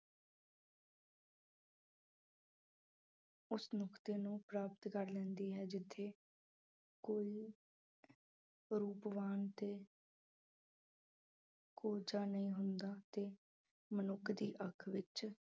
ਉਸ ਮੁਕਤੀ ਨੂੰ ਪ੍ਰਾਪਤ ਕਰ ਲੈਂਦੀ ਹੈ ਜਿੱਥੇ ਕੋਈ ਰੂਪਵਾਨ ਤੇ ਕੋਹਝਾ ਨਹੀਂ ਹੁੰਦਾ ਤੇ ਮਨੁੱਖ ਦੀ ਅੱਖ ਵਿੱਚ